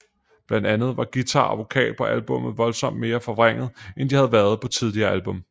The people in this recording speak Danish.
Blandt andet var guitar og vokal på albummet voldsomt mere forvrænget end de havde været på tidligere album